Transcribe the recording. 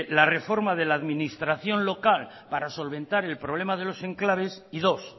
la reforma de la administración local para solventar el problema de los enclaves y dos